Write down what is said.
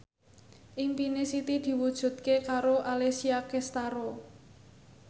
impine Siti diwujudke karo Alessia Cestaro